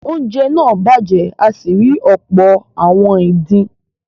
oúnjẹ náà bàjẹ́ a sì rí ọ̀pọ̀ “ àwọn ìdin”.